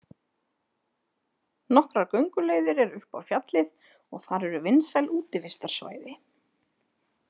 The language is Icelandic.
Nokkrar gönguleiðir eru upp á fjallið og þar eru vinsæl útivistarsvæði.